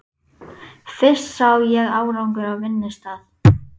Fyrst sá ég árangur á vinnustað.